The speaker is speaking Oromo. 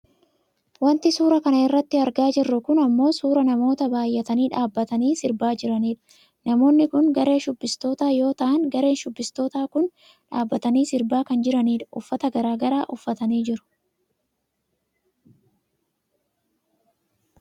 Wanti suuraa kana irratti argaa jirru kun ammoo suuraa namoota baayyatanii dhabbatanii sirbaa jiranidha. Namoonni kun garee shubbistootaa yoo ta'an gareen shubbistootaa kun dhaabbatanii sirba sirbaa kan jiranidha. Uffata garagaraa uffatanii jiru.